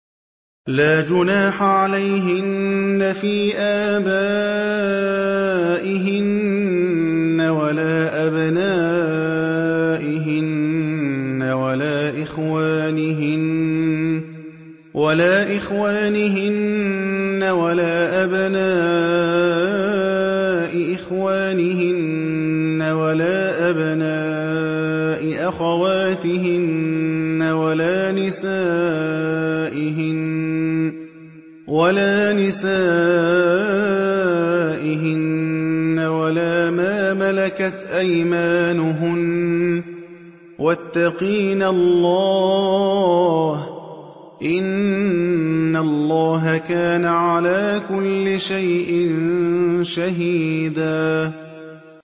لَّا جُنَاحَ عَلَيْهِنَّ فِي آبَائِهِنَّ وَلَا أَبْنَائِهِنَّ وَلَا إِخْوَانِهِنَّ وَلَا أَبْنَاءِ إِخْوَانِهِنَّ وَلَا أَبْنَاءِ أَخَوَاتِهِنَّ وَلَا نِسَائِهِنَّ وَلَا مَا مَلَكَتْ أَيْمَانُهُنَّ ۗ وَاتَّقِينَ اللَّهَ ۚ إِنَّ اللَّهَ كَانَ عَلَىٰ كُلِّ شَيْءٍ شَهِيدًا